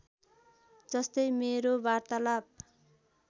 जस्तै मेरो वार्तालाप